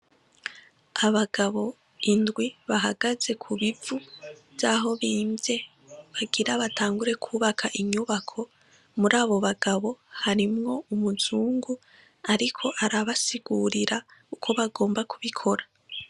Abagabo indwi bahagaze kubivu vyaho bimvye bagira batangure kwubaka inyubako. Muri abo abagabo harimwo umuzungu ariko arabasigurira uko bagomba ubikora.